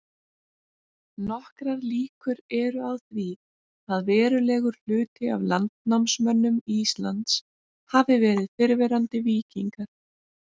Nokkrar líkur eru á því að verulegur hluti af landnámsmönnum Íslands hafi verið fyrrverandi víkingar.